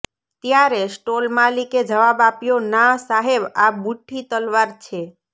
ત્યારે સ્ટોલ માલિકે જવાબ આપ્યો ના સાહેબ આ બુઠ્ઠી તલવાર છે